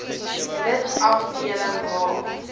lid afdeling h